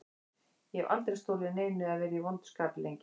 Ég hef aldrei stolið neinu eða verið í vondu skapi lengi.